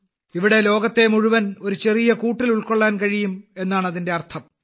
ഇവിടെ ലോകത്തെ മുഴുവൻ ഒരു ചെറിയ കൂട്ടിൽ ഉൾക്കൊള്ളാൻ കഴിയും എന്നാണ് അതിന്റെ അർത്ഥം